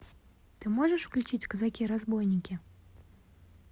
ты можешь включить казаки разбойники